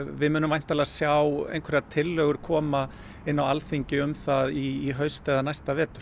við munum væntanlega sjá einhverjar tillögur koma inn á Alþingi um það í haust eða næsta vetur